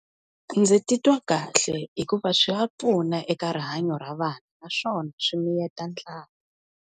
Ndzi titwa kahle, hikuva swa pfuna eka rihanyo ra vana, naswona swi miyeta ndlala.